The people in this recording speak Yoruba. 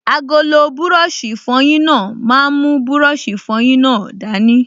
Agolo búrọ̀sì ìfọyín náà máa mú búrọ̀sì ìfọyín náà dání